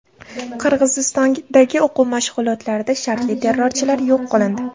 Qirg‘izistondagi o‘quv mashg‘ulotlarida shartli terrorchilar yo‘q qilindi.